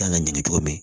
Kan ka ɲini cogo min